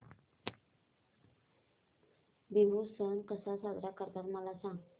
बिहू सण कसा साजरा करतात मला सांग